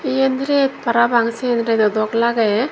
iyen ret parapang sien redo dok lagey.